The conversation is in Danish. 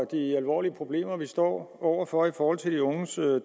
de alvorlige problemer vi står over for i forhold til de unges